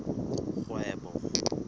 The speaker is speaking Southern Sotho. kgwebo